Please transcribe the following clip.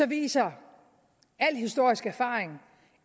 viser al historisk erfaring